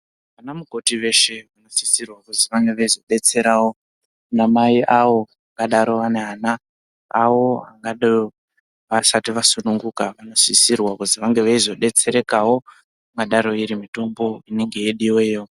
Ana mukoti veshe vanosisirwa kuti vange veizodetserawo anamai awo angadaro ane ana awo vasati vasununguka vanosisirwa kuti vange veizodetserekawo ingadaro iri mitombo inenge ichidiwayo.